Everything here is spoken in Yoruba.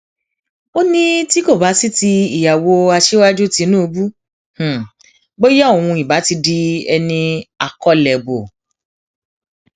ó ní tí kò bá sí ti ìyàwó aṣíwájú tìṣubù bóyá òun ìbá ti di ẹni akólẹbọ